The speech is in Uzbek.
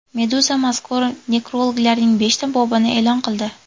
Meduza mazkur nekrologlarning beshta bobini e’lon qildi .